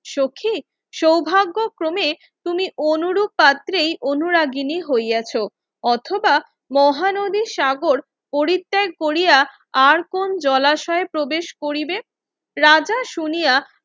সখি সৌভাগ্য ক্রমে তুমি অনুরূপ পাত্রেই অনুরাগিণী হইয়াছ অথবা মহানদীর সাগর পরিত্যাগ কোরিয়া আর কোন জলাশয়ে প্রবেশ করিবে রাজা শুনিয়া